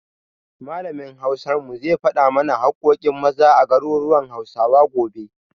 Malamin Hausar mu zai faɗa mana haƙƙoƙin Maza a garuruwan Hausawa, gobe.